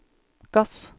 gass